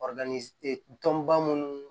tɔnba munnu